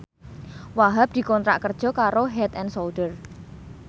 Wahhab dikontrak kerja karo Head and Shoulder